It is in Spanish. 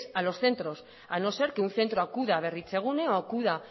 a los centros a no ser que un centro acuda a berritzegune o acuda